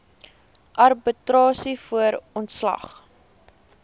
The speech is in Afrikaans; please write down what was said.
arbitrasie voor ontslag